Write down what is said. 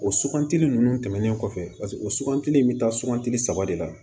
O sugantili ninnu tɛmɛnen kɔfɛ o sugantili in bɛ taa sugantili saba de la